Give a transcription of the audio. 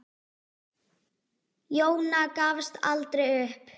Jóna gafst aldrei upp.